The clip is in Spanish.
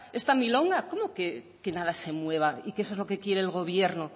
esta milonga cómo que nada se mueva y que eso es lo que quiere el gobierno